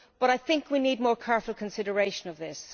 However, I think we need more careful consideration of this.